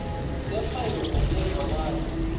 kepha yona iyevakala